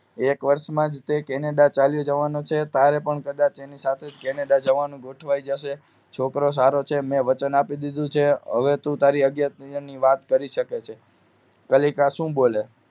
એક વર્ષમાં જે કેનેડા ચાલ્યો જવાનો છે તારે પણ કદાચ એની સાથે કેનેડા જવાનું ગોઠવાઈ જશે છોકરો સારો છે મેં વચન આપી દીધું છે હવે તું તારી અગત્ય ની વાત કરી શકે છે કલી કા શું બોલે